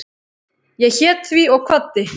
Ég hét því og kvaddi.